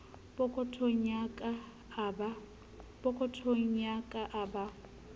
pokothong ya ka a ba